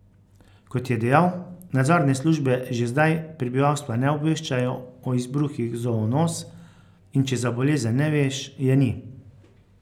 Kot je dejal, nadzorne službe že zdaj prebivalstva ne obveščajo o izbruhih zoonoz, in če za bolezen ne veš, je ni.